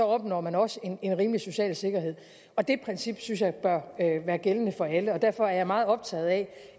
opnår man også en rimelig social sikkerhed og det princip synes jeg bør være gældende for alle derfor er jeg meget optaget af